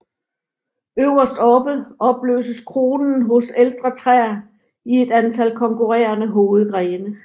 Øverst oppe opløses kronen hos ældre træer i et antal konkurrerende hovedgrene